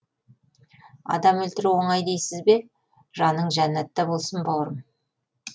адам өлтіру оңай дейсіз бе жаның жәннәтта болсын бауырым